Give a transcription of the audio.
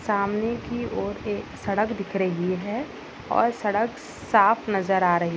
सामने की और एक सड़क दिख रही है और सड़क साफ नज़र आ रही--